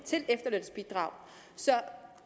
til efterlønsbidrag så